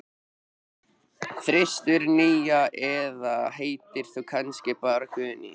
þristur, nía eða heitir þú kannski bara Guðný?